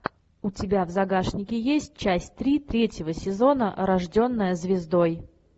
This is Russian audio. у тебя в загашнике есть часть три третьего сезона рожденная звездой